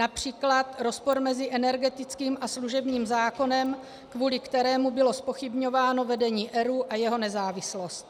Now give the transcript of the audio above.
Například rozpor mezi energetickým a služebním zákonem, kvůli kterému bylo zpochybňováno vedení ERÚ a jeho nezávislost.